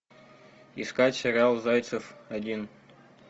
искать сериал зайцев один